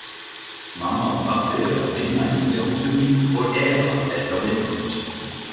Mamma og pabbi eru að vinna í nýja húsinu og Eva er hjá vinkonu sinni.